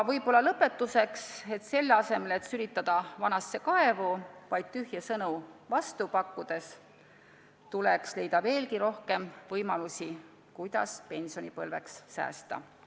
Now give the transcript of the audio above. Lõpetuseks: selle asemel et vaid tühje sõnu pakkudes vanasse kaevu sülitada, tuleks leida veelgi rohkem võimalusi, kuidas pensionipõlveks säästa.